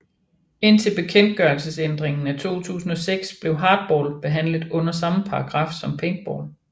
Indtil bekendtgørelsesændringen af 2006 blev hardball behandlet under samme paragraf som paintball